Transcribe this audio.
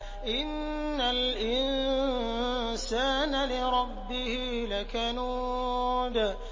إِنَّ الْإِنسَانَ لِرَبِّهِ لَكَنُودٌ